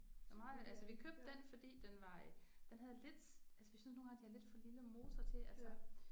Og altså vi købte den fordi den var øh den havde lidt altså vi synes nogle gange de har lidt for lille motor til altså